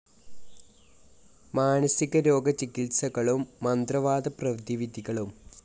മാനസികരോഗ ചികിത്സകളും. മന്ത്രവാദ പ്രതിവിധികളും